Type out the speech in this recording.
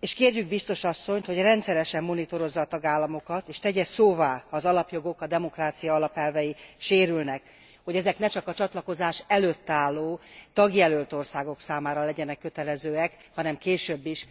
és kérjük biztos asszonyt, hogy rendszeresen monitorozza a tagállamokat és tegye szóvá ha az alapjogok, a demokrácia alapelvei sérülnek, hogy ezek ne csak a csatlakozás előtt álló tagjelölt országok számára legyenek kötelezőek, hanem később is.